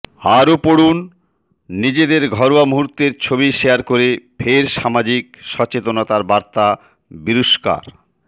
আরও পড়ুনঃনিজেদর ঘরোয়া মুহূর্তের ছবি শেয়ার করে ফের সামাজিক সচেতনাতার বার্তা বিরুষ্কার